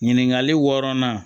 Ɲininkali wɔɔrɔnan